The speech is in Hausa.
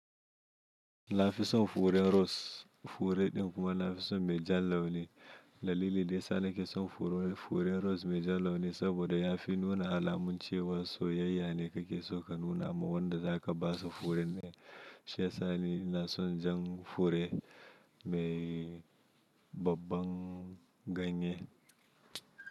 Na fi son furen ros, fure din kuma na fi so mai jan launi. Dalili da ya sa na ke son fure ros mai jan launi saboda ya fi nuna alamun cewa soyayya ne kake so ka nuna ma wanda zaka basu furen. Shiyasa ni ina son jan fure mai babban ganye.